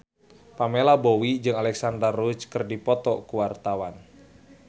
Pamela Bowie jeung Alexandra Roach keur dipoto ku wartawan